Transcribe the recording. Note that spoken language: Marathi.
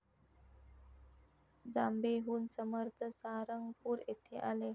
जांबेहून समर्थ सारंगपूर येथे आले.